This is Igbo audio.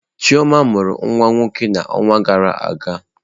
Chioma mụrụ nwa nwoke n'ọnwa gara aga.